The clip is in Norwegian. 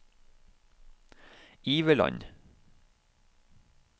Iveland